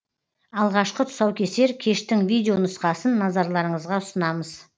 алғашқы тұсаукесер кештің видеонұсқасын назарларыңызға ұсынамыз